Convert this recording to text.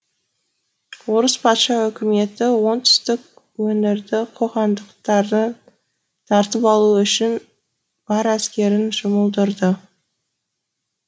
орыс патша үкіметі оңтүстік өңірді қоқандықтардан тартып алу үшін бар әскерін жұмылдырды